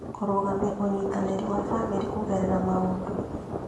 Kũrũgamia ũnyitanĩri wa bamĩrĩ kũgerera maũndũ